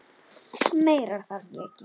Meira þarf ég ekki.